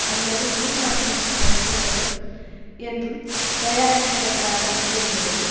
அல்லது ரீமாசெனுக்கு வழங்கப்படும் என்றும் தயாரிப்பு வட்டாரம் கூறுகிறது